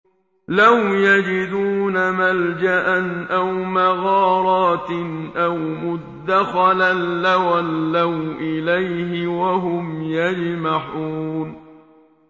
لَوْ يَجِدُونَ مَلْجَأً أَوْ مَغَارَاتٍ أَوْ مُدَّخَلًا لَّوَلَّوْا إِلَيْهِ وَهُمْ يَجْمَحُونَ